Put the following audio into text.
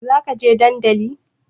Zaka je dandali